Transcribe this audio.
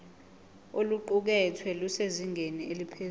oluqukethwe lusezingeni eliphezulu